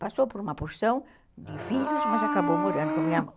Passou por uma porção de filhos, mas acabou morando com a minha mãe.